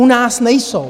U nás nejsou.